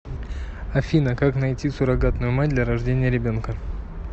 афина как найти суррогатную мать для рождения ребенка